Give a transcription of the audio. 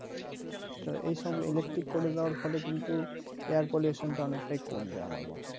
তো এইসব electric করে দেওয়ার ফলে কিন্তু air pollution টা অনেকটাই কমবে আমার মতে